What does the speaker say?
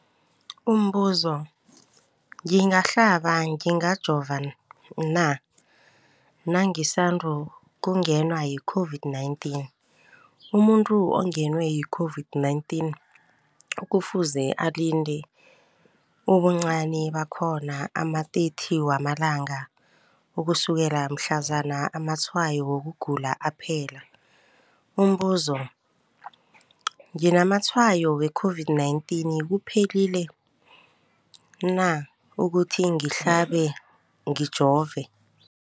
Umbuzo, ngingahlaba, ngingajova na nangisandu kungenwa yi-COVID-19? Umuntu ongenwe yi-COVID-19 kufuze alinde ubuncani bakhona ama-30 wama langa ukusukela mhlazana amatshayo wokugula aphela. Umbuzo, nginamatshayo we-COVID-19, kuphephile na ukuthi ngihlabe, ngijove?